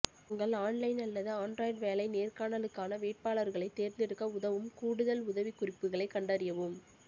உங்கள் ஆன்லைன் அல்லது ஆன்ட்ராய்ட் வேலை நேர்காணலுக்கான வேட்பாளர்களைத் தேர்ந்தெடுக்க உதவும் கூடுதல் உதவிக்குறிப்புகளைக் கண்டறியவும்